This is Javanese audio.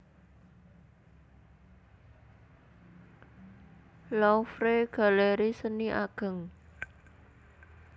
Louvre galeri seni ageng